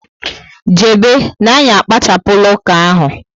Jebe na anyị akpachapula uka ahụ